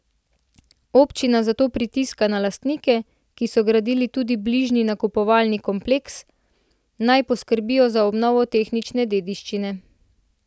Občina zato pritiska na lastnike, ki so gradili tudi bližnji nakupovalni kompleks, naj poskrbijo za obnovo tehnične dediščine.